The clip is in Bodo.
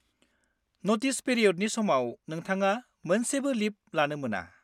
नटिस पिरिय'डनि समाव, नोंथङा मोनसेबो लिब लानो मोना।